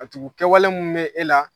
Ka tugu kɛwale min bɛ e la